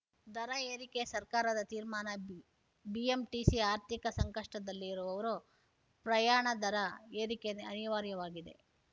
ದರ ಏರಿಕೆ ಸರ್ಕಾರದ ತೀರ್ಮಾನ ಬಿಎಂಟಿಸಿ ಆರ್ಥಿಕ ಸಂಕಷ್ಟದಲ್ಲಿರುವವರು ಪ್ರಯಾಣ ದರ ಏರಿಕೆ ಅನಿವಾರ್ಯವಾಗಿದೆ